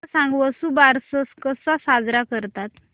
मला सांग वसुबारस कसा साजरा करतात